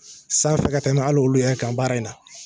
San fɛ ka tɛmɛ hali olu yɛrɛ kan baara in na.